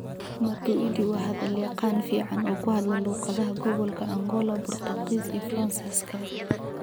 Matuidi waa hadal yaqaan fiican oo ku hadla luqadaha gobolka Angola, Boortaqiis, iyo Faransiiska.